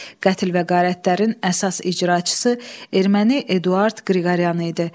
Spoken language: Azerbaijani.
Qətl və qarətlərin əsas icraçısı erməni Eduard Qriqoryan idi.